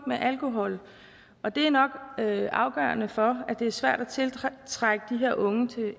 med alkohol og det er nok afgørende for at det er svært at tiltrække de her unge til